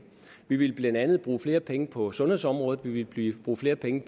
vi ville blandt andet bruge flere penge på sundhedsområdet vi ville bruge flere penge